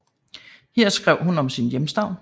Her skrev hun om sin hjemstavn